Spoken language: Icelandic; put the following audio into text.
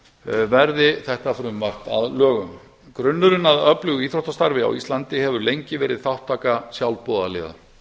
að verði þetta frumvarp að lögum grunnurinn að öflugu íþróttastarfi á íslandi hefur lengi verið þátttaka sjálfboðaliða